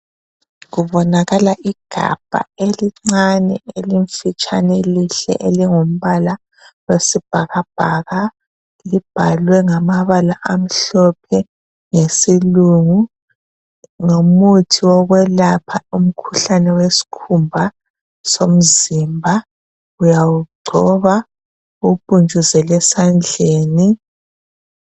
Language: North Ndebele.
Kubonakala igabha elincane elifitshana elihle elingumbala wesibhakabhaka libhalwe ngamabala amhlophe ngesilungu. Ngumuthi wokwelapha umkhuhlane wesikhumba somzimba uyawungcoba uwupuntshuzele esandleni.